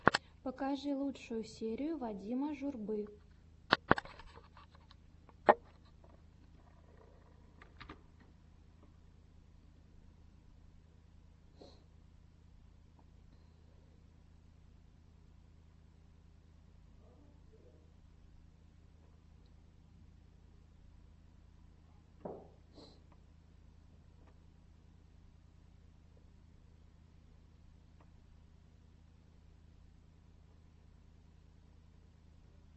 покажи лучшую серию вадима журбы